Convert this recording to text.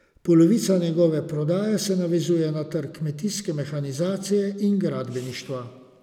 Polovica njegove prodaje se navezuje na trg kmetijske mehanizacije in gradbeništva.